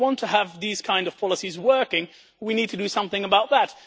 If we want to have these kinds of policies working, we need to do something about that.